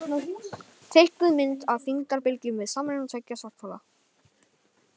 Teiknuð mynd af þyngdarbylgjum við samruna tveggja svarthola.